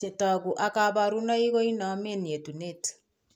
Chetogu ak kaborunoik koinomen yetunatet